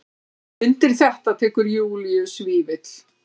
Undir þetta tekur Júlíus Vífill.